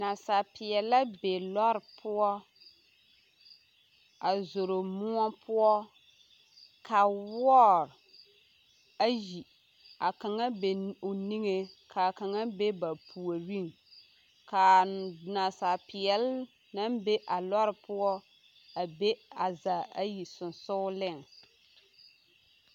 Nasapeɛle la be lɔre poɔ a zoro moɔ poɔ ka wɔɔ ayi a kaŋa be o niŋeŋ k'a kaŋa be ba puoriŋ k'a nasapeɛle naŋ be a lɔre poɔ a be a zaa ayi sonsooleŋ.